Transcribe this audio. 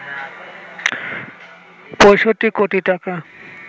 ৬৫ কোটি টাকা